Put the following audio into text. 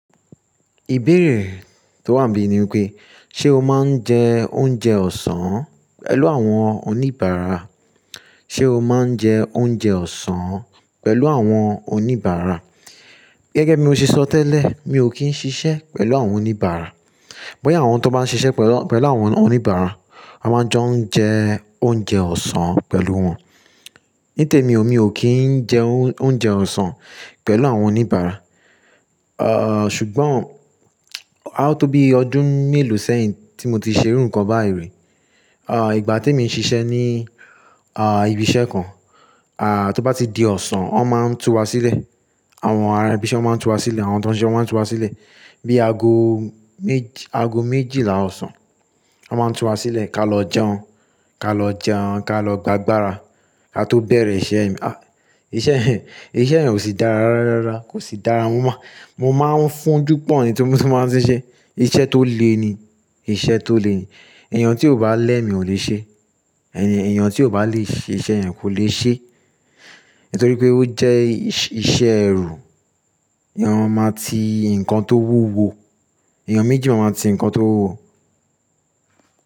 Ìbéèrè tó wà níbí ni wípé, ṣe o máa ń jẹ oúnjẹ ọ̀sán pẹ̀lú àwọn oníbàárà? Ṣe o máa ń jẹ oúnjẹ ọ̀sán pẹ̀lú àwọn oníbàárà? Gẹ́gẹ́ bí mo ṣe sọ tẹ́lẹ̀, mi ò kí ń ṣiṣẹ́ pẹ̀lú àwọn oníbàárà. Bóyá àwọn tó bá ń ṣiṣẹ́ pẹ̀lú, pẹ̀lú àwọn oníbàárà, won máa jọ ń jẹ oúnjẹ ọ̀sán pẹ̀lú wọn. Ní tèmi, mi ò kí ń jẹ oúnjẹ ọ̀sán pẹ̀lú àwọn oníbàárà. Ah, ṣùgbọ́n, aá tó bí ọdún mélòó sẹ́yìn tí mo ti ṣe irú nǹkan báyìí rí, àh ìgbà tí emi ń ṣiṣẹ́ ní ah ibi iṣẹ́ kan, àh tó bá ti di ọ̀sán, wọn máa ń tu wá sílẹ̀. Àwọn ará ibi iṣẹ́ máa ń tu wá sílẹ̀, àwọn ti won ṣiṣẹ́ máa ń tu wá sílẹ̀. Bí aago méjì, aago méjìlá ọ̀sán, wọn máa ń tu wá sílẹ̀ ká lọ jẹun, ká lọ jẹun, ká lọ gbàgbara, ká tó bẹ̀rẹ̀ iṣẹ́. Ah iṣẹ́ iṣẹ́ yẹn ò sí dára rárá, kò sí dára. Mo má, mo máa ń fúnjú pọ̀ ní tí bi mo ti máa ń ṣe iṣẹ́. Iṣẹ́ tó le ni, iṣẹ́ tó le ni. Eeyàn tí ò bá lẹ́mi ò lè ṣe é, eeyàn tí ò bá lè ṣe iṣẹ́ yẹn kò lè ṣe é. Nítorí pé ó jẹ́ iṣẹ́ ẹrù. Eeyàn máa ti nǹkan tó wúwo, eeyàn méjì máa ma ti nǹkan tó wúwo.